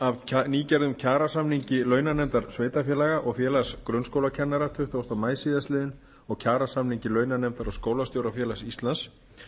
af nýgerðum kjarasamningi launanefndar sveitarfélaga og félags grunnskólakennara tuttugasta maí síðastliðinn og kjarasamningi launanefndar og skólastjórafélags íslands